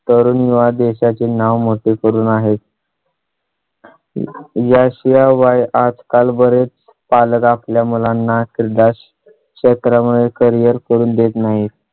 देश चे नाव मोठे करून आहे . याशियावाय आजकाल बरेच पालक आपल्या मुलांना क्रीडा चक्रा मुळे carrier करून देत नाहीत